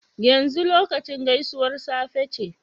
yanzu lokacin gaisuwar safe ce?